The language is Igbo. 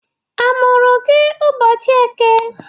Amụrụ gị ụbọchị Eke?